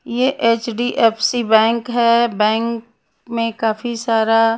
यह एच_डी_एफ_सी बैंक है बैंक में काफी सारा --